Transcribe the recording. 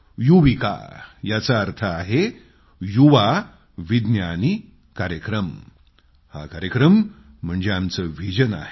युविका याचा अर्थ आहे युवा विज्ञानी कार्यक्रम हा कार्यक्रम म्हणजे आमचं व्हिजन आहे